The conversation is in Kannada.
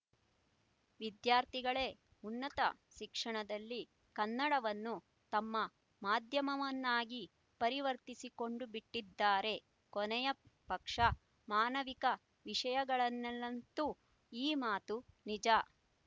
ವಿದ್ಯಾರ್ಥಿಗಳೇ ಉನ್ನತ ಶಿಕ್ಷಣದಲ್ಲಿ ಕನ್ನಡವನ್ನು ತಮ್ಮ ಮಾಧ್ಯಮವನ್ನಾಗಿ ಪರಿವರ್ತಿಸಿಕೊಂಡುಬಿಟ್ಟಿದ್ದಾರೆ ಕೊನೆಯ ಪಕ್ಷ ಮಾನವಿಕ ವಿಷಯಗಳಲ್ಲಂತೂ ಈ ಮಾತು ನಿಜ